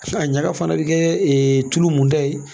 A ɲaga fana bi kɛ tulu mun ta ye